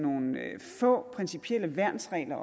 få principielle værnsregler